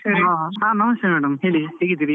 ಹಾ ನಮಸ್ತೆ madam , ಹೇಳಿ ಹೇಗಿದ್ದೀರಿ?